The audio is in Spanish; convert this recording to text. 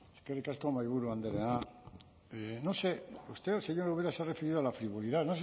eskerrik asko mahaiburu andrea no sé usted señora ubera se ha referido a la frivolidad